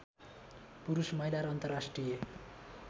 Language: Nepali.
पुरुष महिला र अन्तर्राष्ट्रिय